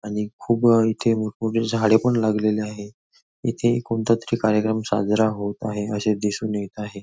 आणि खूप इथे मोठ मोठी झाडे पण लागलेली आहे इथे कोणता तरी कार्यक्रम साजरा होत आहे असे दिसून येत आहे.